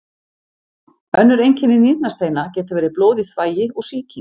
Önnur einkenni nýrnasteina geta verið blóð í þvagi og sýking.